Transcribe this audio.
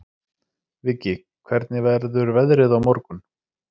Viggi, hvernig verður veðrið á morgun?